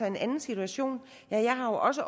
en anden situation jeg har jo også